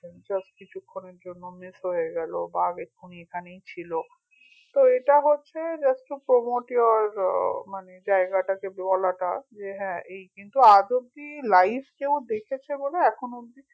just কিছুক্ষনের জন্য miss হয়ে গেলো বাঘ এখনি এখানেই ছিল তো এটা হচ্ছে just to promote your uh মানে জায়গাটাকে যে হ্যা এই কিন্তু আজ অব্দি live কেউ দেখেছে বলে এখন অব্দি